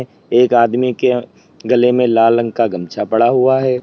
एक आदमी के गले में लाल रंग का गमछा पड़ा हुआ है।